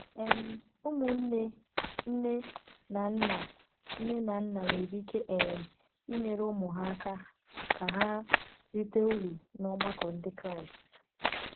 um Ụmụnne nne na nna nne na nna nwere ike um inyere ụmụ ha aka ka ha rite uru n’ọgbakọ Ndị Kraịst.